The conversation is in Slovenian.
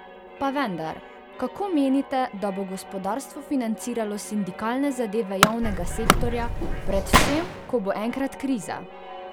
Pa vendar, kako menite, da bo gospodarstvo financiralo sindikalne zahteve javnega sektorja, predvsem, ko bo enkrat kriza?